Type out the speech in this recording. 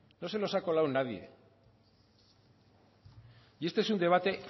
no se nos ha colado nadie y este es un debate